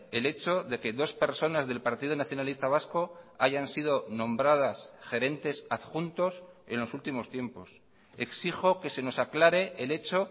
el hecho de que dos personas del partido nacionalista vasco hayan sido nombradas gerentes adjuntos en los últimos tiempos exijo que se nos aclare el hecho